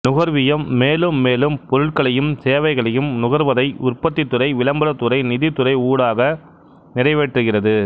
நுகர்வியம் மேலும் மேலும் பொருட்களயும் சேவைகளையும் நுகர்வதை உற்பத்திதுறை விளம்பரத்துறை நிதித்துறை ஊடாக நிறைவேற்றுகிறது